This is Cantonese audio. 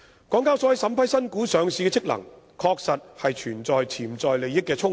港交所在審批新股上市的職能上，確實存在潛在利益衝突。